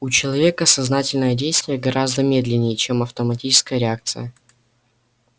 у человека сознательное действие гораздо медленнее чем автоматическая реакция